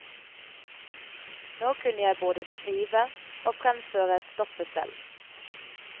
Nå kunne jeg både skrive og fremføre stoffet selv.